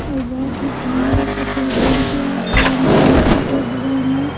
और बहुत ही सुंदर सफेद रंग किया है और उनके मूर्ति के बगल में--